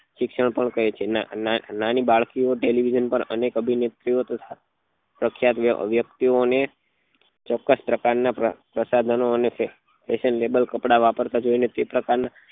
શિક્ષણ પણ કહે છે ના ના નાની બાળકી ઓ television પર અનેક અભિનેત્રીઓ તથા પ્રખ્યાત વ્યક્તિ ઓ ચોક્કસ પ્રકાર ના પ્રસારણ ઓ દેખે અને fashion label કપડા વાપરતા જોઈ ને તે પ્રકાર નાં